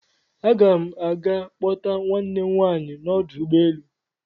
Aga n aga kpọta nwanne m nwaanyị n'ọdụ ụgbọelu.